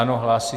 Ano, hlásí.